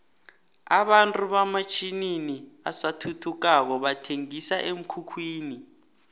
abantu hamatjninini asathuthukako bathenqisa emkhukhwini